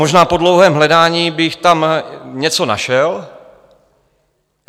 Možná po dlouhém hledání bych tam něco našel.